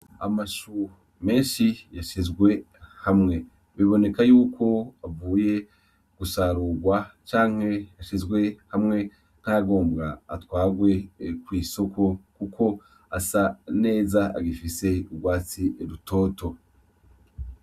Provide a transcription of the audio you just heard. Amashu menshi yashizwe hamwe biboneka yuko avuye gusarurwa canke yashizwe hamwe nkayagobwa atwarwe kw'isoko kuko asa neza agifise urwatsi rutoto.